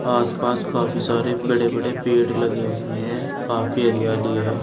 आसपास काफी सारे बड़े बड़े पेड़ लगे हुए हैं काफी हरियाली है।